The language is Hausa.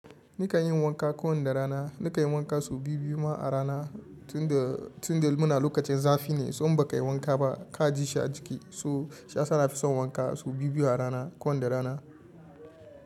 Nikan yin wanka kowani rana. Nikan yi wanka sau biyu-biyu ma a rana. Tunda muna lokacin zafi ne, so inba ka yi wanka ba, ka ji shi a jiki, so shiyasa na fi son wanka sau biyu-biyu a rana, kowani rana.